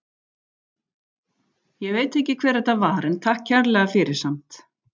Ég veit ekki hver þetta var en takk kærlega fyrir samt.